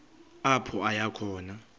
apho aya khona